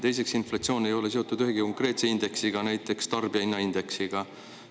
Teiseks, inflatsioon ei ole seotud ühegi konkreetse indeksiga, näiteks tarbijahinnaindeksiga.